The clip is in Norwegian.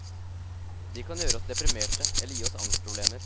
De kan gjøre oss deprimerte eller gi oss angstproblemer.